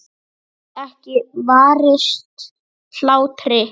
Ég get ekki varist hlátri.